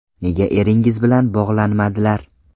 Nega eringiz biz bilan bog‘lanmadilar?